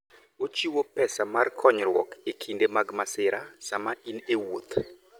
Ochiwo pesa mar konyruok e kinde mag masira sama in e wuoth.